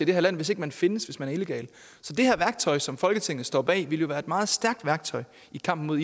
det her land hvis ikke man findes altså hvis man er illegal så det her værktøj som folketinget står bag at bruge ville være et meget stærkt værktøj i kampen mod